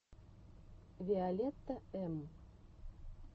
виолетта эм